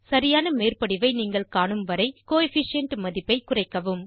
சரியான மேற்படிவை நீங்கள் காணும்வரை கோஎஃபிஷியன்ட் மதிப்பை குறைக்கவும்